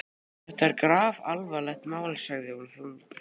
Þetta er grafalvarlegt mál sagði hann þungbrýnn.